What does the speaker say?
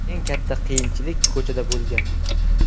Eng katta qiyinchilik ko‘chada bo‘lgan.